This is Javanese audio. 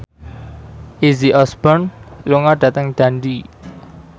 Izzy Osborne lunga dhateng Dundee